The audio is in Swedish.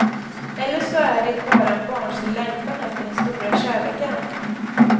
Eller så är det bara en barnslig längtan efter den stora kärleken.